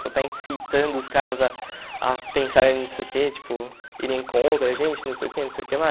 Pô, está incitando os caras a a pensar em não sei o que, tipo, irem contra da gente, não sei o que, não sei o que lá.